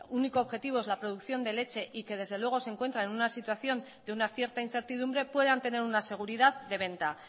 único objetivo es la producción de leche y que desde luego se encuentra en una situación de una cierta incertidumbre puedan tener una seguridad de venta